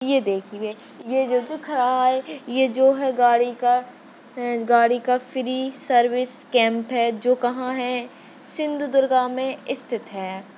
ये देखिये ये जो दिख रहा है ये जो है गाड़ी का अं गाड़ी का फ्री सर्विस कैंप जो कहा है सिंधुदुर्ग मे इस्थिथ है।